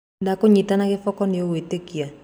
Ndakũnyita na gĩboko nĩũgwĩtĩka.